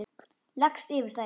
Leggst yfir þær.